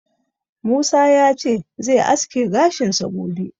Musa ya ce zai aske gashinsa gobe.